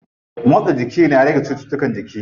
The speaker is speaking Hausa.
Motsa jiki na rage cuttutukan jiki.